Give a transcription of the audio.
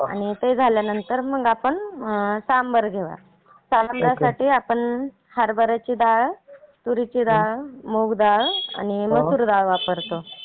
आणि ते झाल्यानंतर आपण सांबर घ्यावा. सांबरासाठी आपण हरबर्याची डाळ, तुरीची डाळ, मुग डाळ आणि मसूर डाळ वापरतो.